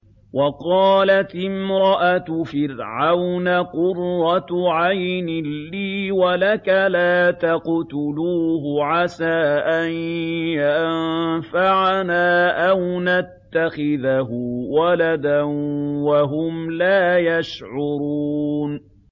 وَقَالَتِ امْرَأَتُ فِرْعَوْنَ قُرَّتُ عَيْنٍ لِّي وَلَكَ ۖ لَا تَقْتُلُوهُ عَسَىٰ أَن يَنفَعَنَا أَوْ نَتَّخِذَهُ وَلَدًا وَهُمْ لَا يَشْعُرُونَ